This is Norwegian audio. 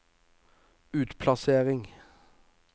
utplassering